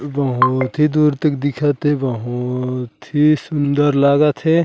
बहुत ही दूर तक दिखत हे बहुत ही सुन्दर लागत हे ।